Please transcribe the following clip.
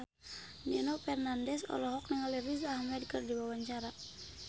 Nino Fernandez olohok ningali Riz Ahmed keur diwawancara